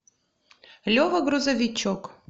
лева грузовичок